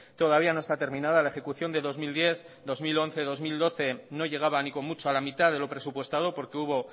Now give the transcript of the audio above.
todavía no está terminada la ejecución de dos mil diez dos mil once dos mil doce no llegaba ni con mucho a la mitad de lo presupuestado porque hubo